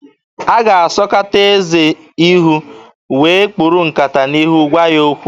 A ga-asọkata eze ihu wee kpuru nkata n'ihu gwa ya okwu.